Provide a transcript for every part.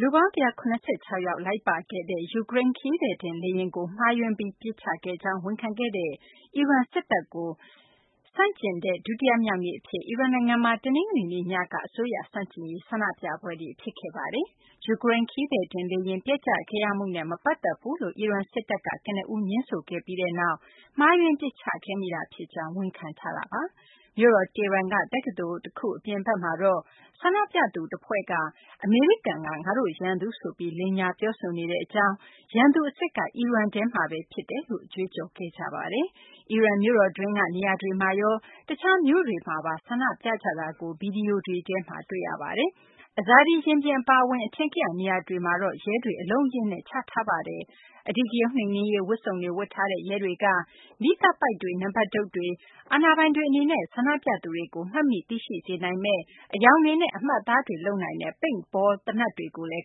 လူပေါင်း ၁၇၆ ယောက် လိုက်ပါခဲ့တဲ့ ယူကရိန်း ခရီးသည်တင်လေယာဉ်ကို မှားယွင်းပြီး ပစ်ချခဲ့ကြောင်း ဝန်ခံခဲ့တဲ့ အီရန်စစ်တပ်ကို ဆန့်ကျင်တဲ့ ဒုတိယမြောက်နေ့အဖြစ် အီရန်နိုင်ငံမှာ တနင်္ဂနွေနေ့ညက အစိုးရဆန့်ကျင်ရေး ဆန္ဒပြပွဲတွေ ဖြစ်ခဲ့ပါတယ်။ ယူကရိန်း ခရီးသည်တင်လေယာဉ် ပျက်ကျခဲ့ရမှုနဲ့ မပတ်သက်ဘူးလို့ အီရန်စစ်တပ်က ကနဦး ငြင်းဆိုခဲ့ပြီးနောက်မှာ မှားယွင်းပစ်ချခဲ့မိတာ ဖြစ်ကြောင်း ဝန်ခံထားတာပါ။ မြို့တော် တီဟီရန်က တက္ကသိုလ် အပြင်ဘက်မှာတော့ ဆန္ဒပြသူတဖွဲ့က အမေရိကန်က ငါတို့ရန်သူဆိုပြီး လိမ်ညာ ပြောဆိုနေကြောင်း၊ ရန်သူအစစ်က အီရန်ထဲမှာပဲ ဖြစ်ကြောင်း ကြွေးကြော်ခဲ့ကြပါတယ်။ အီရန်မြို့တော်တွင်းက နေရာတွေမှာရော တခြားမြို့တွေမှာပါ ဆန္ဒပြကြတာကို ဗွီဒီယိုတွေထဲမှာ တွေ့ရပါတယ်။ Azadi ရင်ပြင် အပါအဝင် အထင်ကရ နေရာတွေမှာတော့ ရဲတွေ အလုံးအရင်းနဲ့ ချထားပါတယ်။ အဓိကရုဏ်းနှိမ်နင်းရေး ဝတ်စုံတွေ ဝတ်ထားတဲ့ ရဲတွေက မီးသတ်ပိုက်တွေ၊ နံပါတ်တုတ်တွေ၊ အာဏာပိုင်တွေအနေနဲ့ ဆန္ဒပြသူတွေကို မှတ်မိ သိရှိနိုင်စေမယ့် အရောင်တွေနဲ့ အမှတ်အသား လုပ်နိုင်တဲ့ Paintball သေနတ်တွေကိုလည်း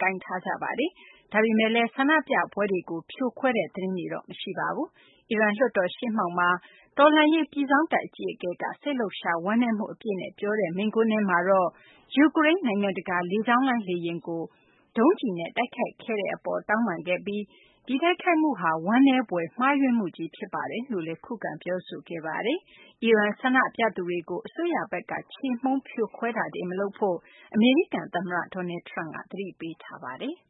ကိုင်ထားကြပါတယ်။ ဒါပေမယ့်လည်း ဆန္ဒပြပွဲတွေကို ဖြိုခွဲတဲ့ သတင်းတွေတော့ မရှိပါဘူး။ အီရန်လွှတ်တော် ရှေ့မှောက်မှာ အီရန် တော်လှန်ရေးပြည်စောင့်တပ် အကြီးအကဲက စိတ်လှုပ်ရှား ဝမ်းနည်းမှုအပြည့်နဲ့ ပြောခဲ့တဲ့ မိန့်ခွန်းထဲမှာတော့ ယူကရိန်း နိုင်ငံတကာလေကြောင်းလိုင်း လေယာဉ်ကို ဒုံးကျည်နဲ့ တိုက်ခိုက်ခဲ့တဲ့အပေါ် တောင်းပန်ခဲ့ပြီး ဒီတိုက်ခိုက်မှုဟာ ဝမ်းနည်းဖွယ် မှားယွင်းမှုကြီး ဖြစ်ပါတယ်လို့ ခုခံ ပြောဆိုခဲ့ပါတယ်။ အီရန် ဆန္ဒပြသူတွေကို အစိုးရဘက်က ချေမှုန်းဖြိုခွဲတာ မလုပ်ဖို့ အမေရိကန် သမ္မတ Donald Trump က သတိပေးထားပါတယ်။